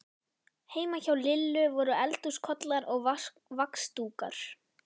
Heima hjá Lillu voru eldhúskollar og vaxdúkur.